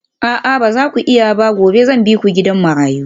A'a ba za ku iya ba gobe zan bi ku gidan marayu